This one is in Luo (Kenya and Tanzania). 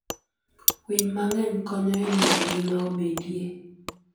Winy mang'eny konyo e miyo ngima obedie.